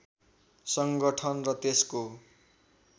सङ्गठन र त्यसको